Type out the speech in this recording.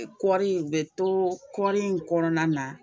Ni kɔɔri in bɛ to kɔɔri in kɔnɔna na